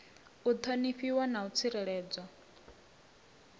u ṱhonifha na u tsireledza